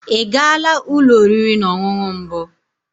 Ị gaala ụlọ oriri na ọṅụṅụ mbụ?